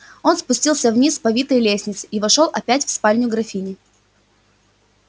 он спустился вниз по витой лестнице и вошёл опять в спальню графини